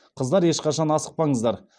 қыздар ешқашан асықпаңыздар